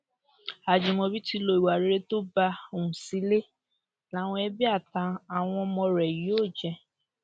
àjìmọbí ti lo ìwà rere tó bá hù sílẹ làwọn ẹbí àti àwọn ọmọ rẹ yóò jẹ